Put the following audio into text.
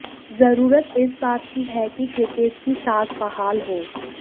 जरूरत इस बात की है कि क्रिकेट की साख बहाल हो